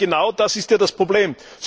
Aber genau das ist ja das Problem.